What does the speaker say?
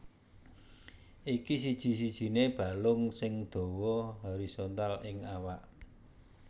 Iki siji sijiné balung sing dawa horizontal ing awak